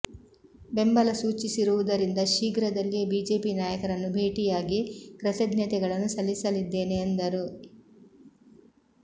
ಬೆಂಬಲ ಸೂಚಿಸಿರುವುದರಿಂದ ಶೀಘ್ರದಲ್ಲಿಯೇ ಬಿಜೆಪಿ ನಾಯಕರನ್ನು ಭೇಟಿ ಯಾಗಿ ಕೃತಜ್ಞತೆಗಳನ್ನು ಸಲ್ಲಿಸಲಿದ್ದೇನೆ ಎಂದರು